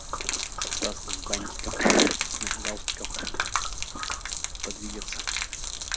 с красным бантиком галстуком подвигаться